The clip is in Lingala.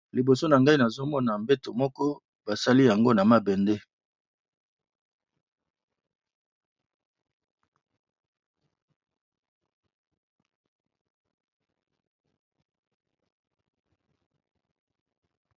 Liboso nangai nazomona mbeto moko basali yango na mabende